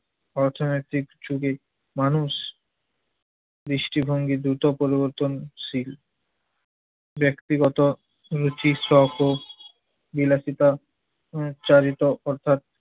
অর্থনৈতিক যুগের মানুষ দৃষ্টিভঙ্গি দ্রুত পরিবর্তনশীল। ব্যক্তিগত রুচি, শখ ও বিলাসিতার চালিত অর্থাৎ